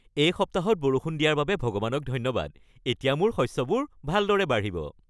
এই সপ্তাহত বৰষুণ দিয়াৰ বাবে ভগৱানক ধন্যবাদ। এতিয়া মোৰ শস্যবোৰ ভালদৰে বাঢ়িব।